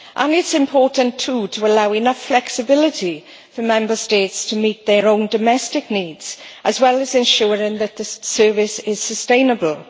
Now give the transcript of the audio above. It is important too to allow enough flexibility for Member States to meet their own domestic needs, as well as ensuring that this service is sustainable.